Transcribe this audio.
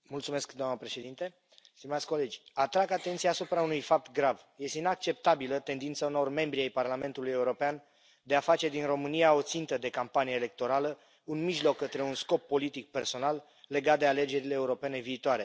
Doamnă președintă, stimați colegi, atrag atenția asupra unui fapt grav este inacceptabilă tendința unor membri ai Parlamentului European de a face din România o țintă de campanie electorală, un mijloc către un scop politic personal, legat de alegerile europene viitoare.